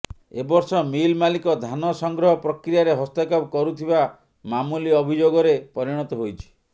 ଏବର୍ଷ ମିଲ୍ ମାଲିକ ଧାନ ସଂଗ୍ରହ ପ୍ରକ୍ରିୟାରେ ହସ୍ତକ୍ଷେପ କରୁଥିବା ମାମୁଲି ଅଭିଯୋଗରେ ପରିଣତ ହୋଇଛି